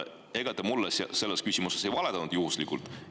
Ega te mulle selles küsimuses ei valetanud juhuslikult?